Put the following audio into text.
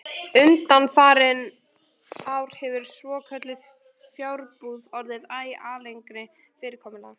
Undanfarin ár hefur svokölluð fjarbúð orðið æ algengara fyrirkomulag.